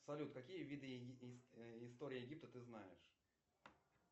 салют какие виды истории египта ты знаешь